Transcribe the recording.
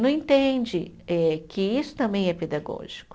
Não entende eh que isso também é pedagógico.